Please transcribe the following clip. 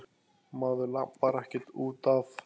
Maður labbar ekkert út af.